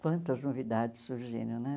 Quantas novidades surgiram, né?